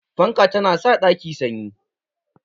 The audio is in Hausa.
Fanka ta na sa ɗaki sanyi